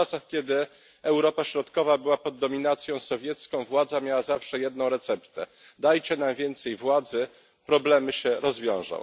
To w czasach, kiedy Europa Środkowa była pod dominacją sowiecką, władza miała zawsze jedną receptę dajcie nam więcej władzy, problemy się rozwiążą.